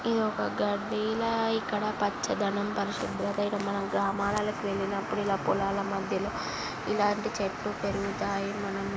ఇది ఒక గడ్డి లా ఇక్కడ పచ్చదనం పరిశుభ్రత ఈడ మనం గ్రామాలల్లకు వెళ్లినప్పుడు ఈడ పొలాల మధ్యలో ఇలాంటి చెట్లు పెరుగుతాయి. మనం--